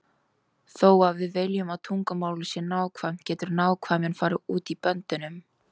Þó að við viljum að tungumálið sé nákvæmt getur nákvæmnin farið út böndunum.